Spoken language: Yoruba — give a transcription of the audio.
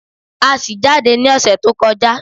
A ṣì jáde ní ọ̀sẹ̀ tó kọjá